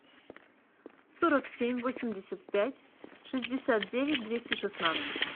сорок семь восемьдесят пять шестьдесят девять двести шестнадцать